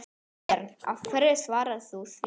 Björn: Hverju svarar þú því?